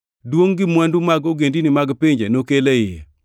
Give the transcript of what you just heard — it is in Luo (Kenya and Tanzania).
Duongʼ gi mwandu mag ogendini mag pinje nokel e iye.